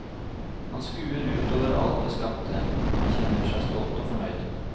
Han skuer ut over alt det skapte, og han kjenner seg stolt og fornøyd.